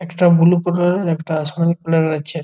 একটা blue colour -এর একটা আশমানি কালার -এর আছে।